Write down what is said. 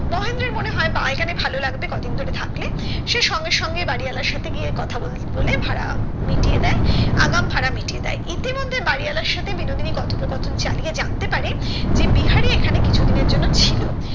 মহেন্দ্রর মনে হয় বা এখানে ভালো লাগবে কদিন ধরে থাকলে সে সঙ্গে সঙ্গে বাড়িওয়ালার সাথে গিয়ে কথা বলে বলে ভাড়া মিটিয়ে দেয় আগাম ভাড়া মিটিয়ে দেয় ইতিমধ্যে বাড়িওয়ালার সাথে বিনোদিনী কথোকপথন চালিয়ে জানতে পারে যে বিহারি এখানে কিছুদিনের জন্য ছিল